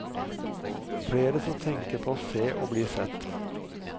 Flere som tenker på å se og å bli sett.